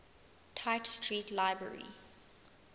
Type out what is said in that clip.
tite street library